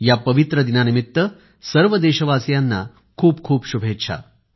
या पवित्र दिनानिमित्त सर्व देशवासियांना खूपखूप शुभेच्छा